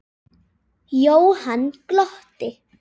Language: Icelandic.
Jóhann glotti.